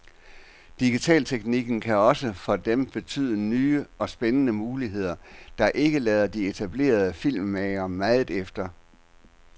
Digitalteknikken kan også for dem betyde nye og spændende muligheder, der ikke lader de etablerede filmmagere meget efter.